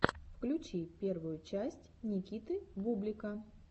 включи первую часть никиты бублика